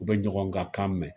U be ɲɔgɔn ka kan mɛ